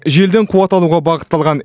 желден қуат алуға бағытталған